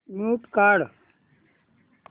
mute काढ